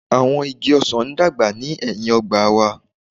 Awọn igi ọsan n dagba ni ẹhin ogba wa